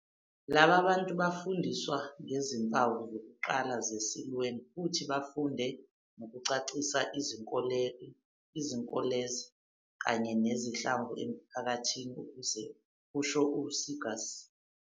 "Laba bantu bafundiswa ngezimpawu zokuqala ze-Siluan futhi bafunde nokucacisa izinkoleloze kanye nesihlava emiphakathini," kusho u-Seegers.